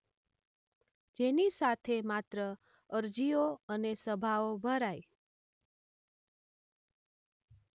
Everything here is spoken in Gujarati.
જેની સાથે માત્ર અરજીઓ અને સભાઓ ભરાઈ.